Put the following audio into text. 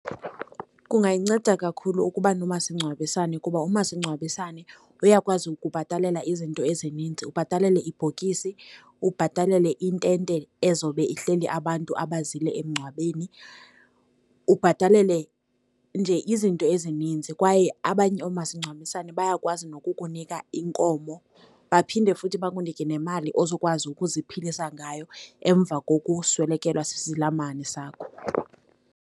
Kungayinceda kakhulu ukuba nomasingcwabisane, kuba umasingcwabisane uyakwazi ukubhatalela izinto ezininzi. Ubhatalele ibhokisi, ubhatalele intente ezawube ihleli abantu abazile emngcwabeni, ubhatalele nje izinto ezininzi, kwaye abanye omasingcwabisane bayakwazi nokukunika inkomo, baphinde futhi bakunike nemali ozokwazi ukuziphilisa ngayo emva ngokuswelekelwa sisilamane sakho.